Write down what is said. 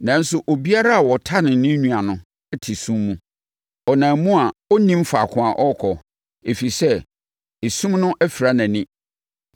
Nanso, obiara a ɔtane ne nua no te sum mu. Ɔnam mu a ɔnnim faako a ɔrekɔ, ɛfiri sɛ, esum no afira nʼani.